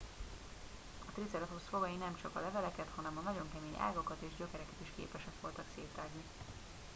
a triceratops fogai nemcsak a leveleket hanem a nagyon kemény ágakat és gyökereket is képesek voltak szétrágni